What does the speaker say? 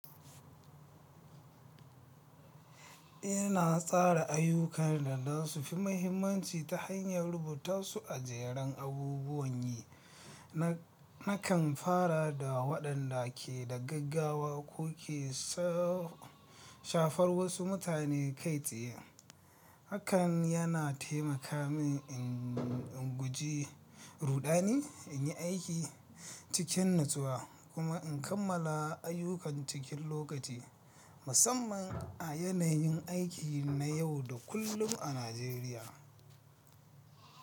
Ina tsara ayyukana don su fi mahimmanci ta hanyar rubuta su a jerin abubuwan yi, Nakan fara da waɗanda ke da gaggawa ko ke, ko ke shafar wasu mutane kai tsaye. Hakan yana taimaka min in guji ruɗani, in yi aiki cikin nutsuwa, kuma in kammala ayyukan cikin lokaci, musamman a yanayin aiki na yau da kullum a Najeriya.